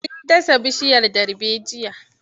Mun dasa bishiyar darbejiya.